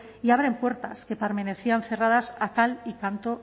y abren puertas que permanecían cerradas a cal y canto